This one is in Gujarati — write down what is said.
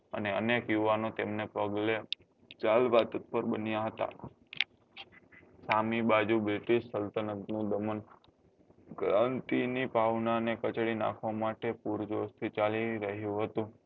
અને અનેક યુવાનો તેમના પગલે ચાલવા તત્પર બન્યા હતા સામી બાજુ british ક્રાંતિ ની ભાવના ને કચડી નાખવા માટે પુરજોશ થી ચાલી રહ્યું હતું